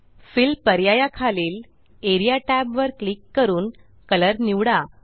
fill पर्याया खालील A R E A tab वर क्लिक करून कलर निवडा